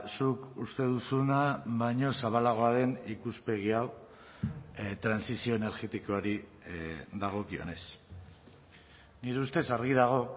zuk uste duzuna baino zabalagoa den ikuspegi hau trantsizio energetikoari dagokionez nire ustez argi dago